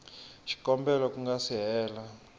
xikombelo ku nga si hela